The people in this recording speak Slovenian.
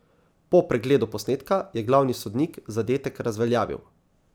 Po pregledu posnetka je glavni sodnik zadetek razveljavil.